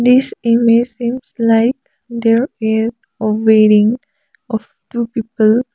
this image seems like there is a wearing of two people.